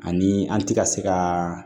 Ani an ti ka se ka